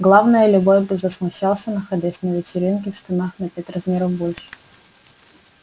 главное любой бы засмущался находясь на вечеринке в штанах на пять размеров больше